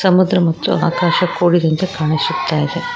ಸಮುದ್ರ ಮತ್ತು ಆಕಾಶ ಕೂಡಿದಂತೆ ಕಾಣಿಸುತ್ತ ಇದೆ.